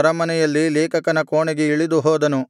ಅರಮನೆಯಲ್ಲಿ ಲೇಖಕನ ಕೋಣೆಗೆ ಇಳಿದುಹೋದನು